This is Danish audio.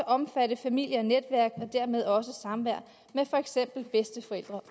omfatte familie og netværk og dermed også samvær med for eksempel bedsteforældre